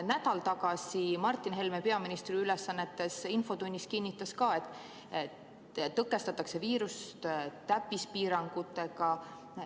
" Nädal tagasi infotunnis kinnitas Martin Helme peaministri ülesannetes olles samuti, et viirust tõkestatakse täppispiirangutega.